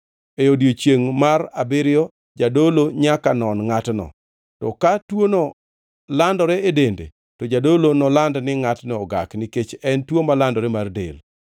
E odiechiengʼ mar abiriyo jadolo nyaka non ngʼatno, to ka tuono landore e dende, to jadolo noland ni ngʼatno ogak; nikech en tuo malandore mar del.